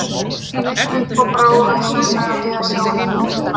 Hann leit upp og brá auðsjáanlega við að sjá einhvern í glugganum.